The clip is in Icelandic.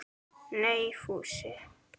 Nei, Fúsi.